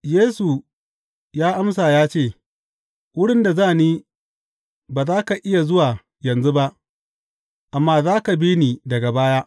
Yesu ya amsa ya ce, Wurin da za ni, ba za ka iya zuwa yanzu ba, amma za ka bi ni daga baya.